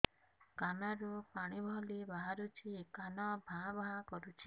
କାନ ରୁ ପାଣି ଭଳି ବାହାରୁଛି କାନ ଭାଁ ଭାଁ କରୁଛି